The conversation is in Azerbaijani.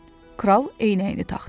Kral eynəyini taxdı.